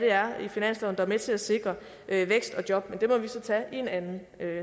er i finansloven der er med til at sikre vækst og job men det må vi så tage i en anden